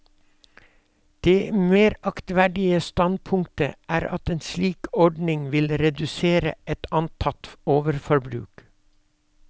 Det mer aktverdige standpunktet er at en slik ordning vil redusere et antatt overforbruk.